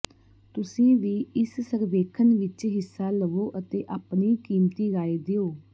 ਤੁਸੀਂ ਵੀ ਇਸ ਸਰਵੇਖਣ ਵਿਚ ਹਿੱਸਾ ਲਵੋ ਅਤੇ ਆਪਣੀ ਕੀਮਤੀ ਰਾਏ ਦਿਓ